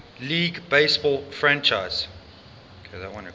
league baseball franchise